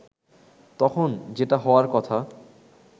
তখন যেটা হওয়ার কথা